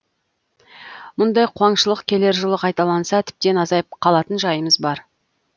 мұндай қуаңшылық келер жылы қайталанса тіптен азайып қалатын жайымыз бар